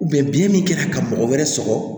biyɛn min kɛra ka mɔgɔ wɛrɛ sɔrɔ